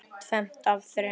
Tvennt af þrennu.